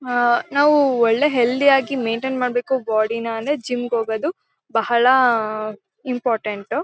ಹಾ ನಾವು ಒಳ್ಳೆ ಹೆಲ್ತಿ ಯಾಗಿ ಮೈನ್ಟೈನ್ ಮಾಡಬೇಕು ಬಾಡಿ ನ ಅಂದ್ರೆ ಜಿಮ್ ಗೆ ಹೋಗೋದು ಬಹಳ ಇಂಪಾರ್ಟೆಂಟ್ .